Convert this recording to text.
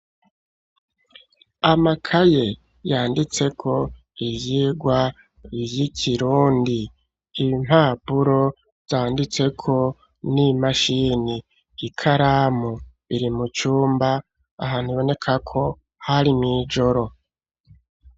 Amakaye yanditseko iyirwa y'ikirundi impapuro zanditseko n'imashini i karamu biri mu cumba ahantubonekako hari mw'ijoro.